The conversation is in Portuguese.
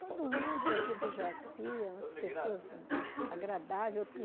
Todo mundo daqui do Jaci, as pessoas agradáveis.